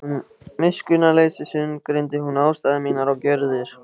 Af miskunnarleysi sundurgreindi hún ástæður mínar og gjörðir.